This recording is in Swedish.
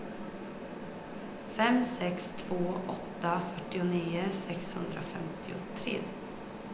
fem sex två åtta fyrtionio sexhundrafemtiotre